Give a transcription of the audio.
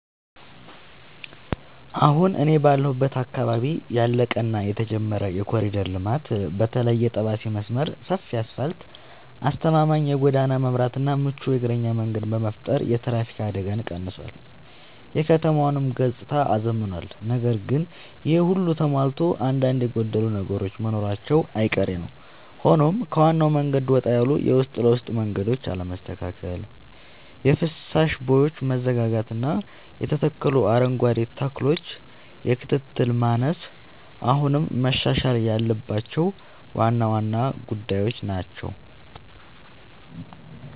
አሁን እኔ ባለሁበት አካባቢ ያለቀ እና የተጀመረ የኮሪደር ልማት (በተለይ የጠባሴ መስመር) ሰፊ አስፋልት: አስተማማኝ የጎዳና መብራትና ምቹ የእግረኛ መንገድ በመፍጠር የትራፊክ አደጋን ቀንሷል: የከተማዋንም ገጽታ አዝምኗል። ነገር ግን ይሄ ሁሉ ተሟልቶ አንዳንድ የጎደሉ ነገሮች መኖራቸው አይቀሬ ነዉ ሆኖም ከዋናው መንገድ ወጣ ያሉ የውስጥ ለውስጥ መንገዶች አለመስተካከል: የፍሳሽ ቦዮች መዘጋጋትና የተተከሉ አረንጓዴ ተክሎች የክትትል ማነስ አሁንም መሻሻል ያለባቸው ዋና ዋና ጉዳዮች ናቸው።